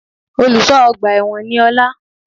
Olùsọ́ ọgbà èwọ̀n ni Ọlá